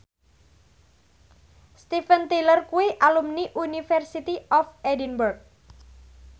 Steven Tyler kuwi alumni University of Edinburgh